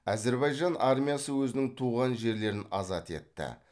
әзербайжан армиясы өзінің туған жерлерін азат етті